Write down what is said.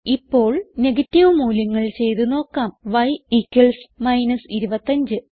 ഇപ്പോൾ നെഗറ്റീവ് മൂല്യങ്ങൾ ചെയ്ത് നോക്കാം y 25